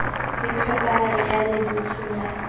le tlhokahalo ya lebotho la